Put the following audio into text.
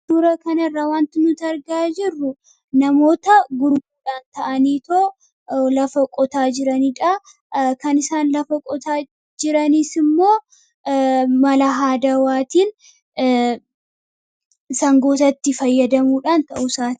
Suura kanarra waanti nuti argaa jirru namoota gurguddaa ta'aniitoo lafa qotaa jiranidha. Kan isaan lafa qotaa jiranis immoo mala aadawwaatiin, sangootatti fayyadamuudhaan ta'uusaati.